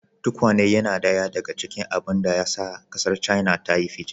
Tukwane yana daya daga cikin abin da ya sa kasar China ta yi fice.